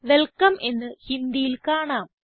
welcome എന്ന് ഹിന്ദിയിൽ കാണാം